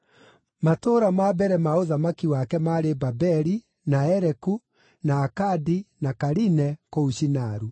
Matũũra ma mbere ma ũthamaki wake maarĩ Babeli, na Ereku, na Akadi na Kaline, kũu Shinaru.